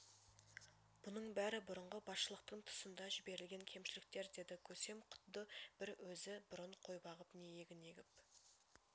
бұның бәрі бұрынғы басшылықтың тұсында жіберілген кемшіліктер деді көсем құдды бір өзк бұрын қой бағып не егін егіп